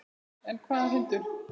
En hvaða hundur?